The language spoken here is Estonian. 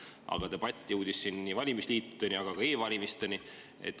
Aga debatt jõudis siin valimisliitude ja ka e‑valimisteni.